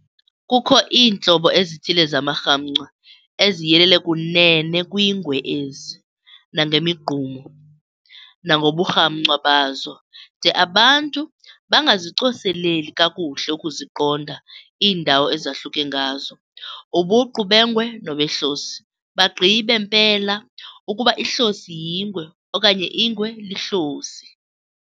Kukho iintlobo ezithile zamarhamncwa eziyelele kunene kwiingwe ezi, nangemigqumo, nangoburhamncwa bazo, de abantu bangazicoseleli kakuhle ukuziqonda iindawo ezahluke ngazo, ubuqu bengwe nobehlosi, bagqibe mpela ukuba ihlosi yingwe, okanye ingwe lihlosi.